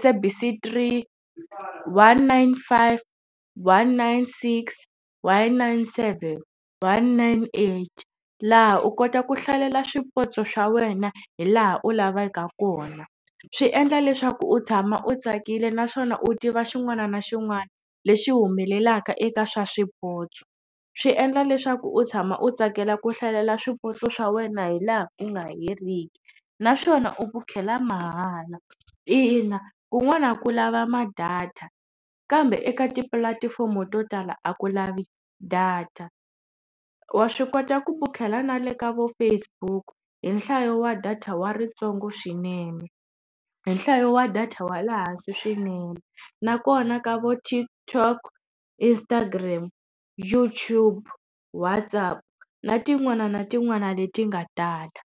SABC 3, one nine five, one nine six, one nine seven, one nine eight laha u kota ku hlalela swipotso swa wena hi laha u lavaka kona. Swi endla leswaku u tshama u tsakile naswona u tiva xin'wana na xin'wana lexi humelelaka eka swa swipotso. Swi endla leswaku u tshama u tsakela ku hlalela swipotso swa wena hi laha ku nga heriki naswona u vukela mahala ina kun'wana ku lava ma data kambe eka tipulatifomo to tala a ku lavi data. Wa swi kota ku vukela na le ka vo Facebook hi nhlayo wa data wa ritsongo swinene hi nhlayo wa data wa le hansi swinene nakona ka vo TikTok, Instagram, YouTube, WhatsApp na tin'wana na tin'wana leti nga tala.